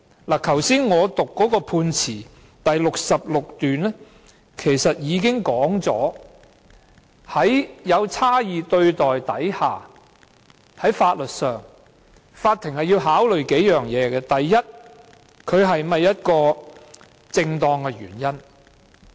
我剛才讀出的判詞第66段已述明，對於差異對待，法庭在法律上要考慮數點：首先，它是否正當原因。